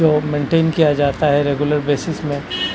जो मेंटेन किया जाता है रेगुलर बेसिस में --